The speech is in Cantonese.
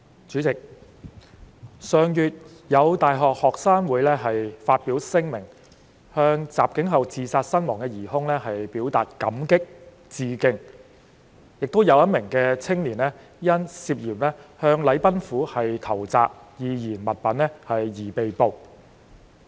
主席，上月，有大學學生會發表聲明，向襲警後自殺身亡的疑兇表達"感激"和"致敬"，亦有一名青年因涉嫌向禮賓府投擲易燃物品而被捕。